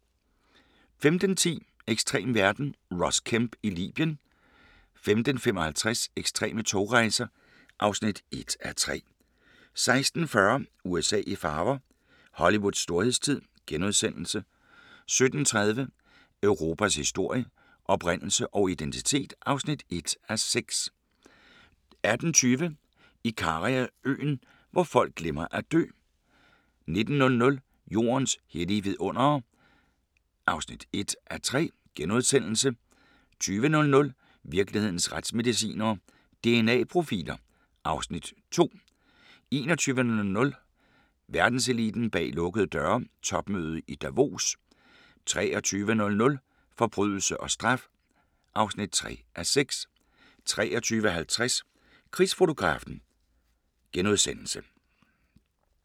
15:10: Ekstrem verden – Ross Kemp i Libyen * 15:55: Ekstreme togrejser (1:3) 16:40: USA i farver – Hollywoods storhedstid * 17:30: Europas historie – oprindelse og identitet (1:6) 18:20: Ikariaøen – hvor folk glemmer at dø 19:00: Jordens hellige vidundere (1:3)* 20:00: Virkelighedens retsmedicinere: DNA-profiler (Afs. 2) 21:00: Verdenseliten bag lukkede døre: Topmødet i Davos 23:00: Forbrydelse og straf (3:6) 23:50: Krigsfotografen *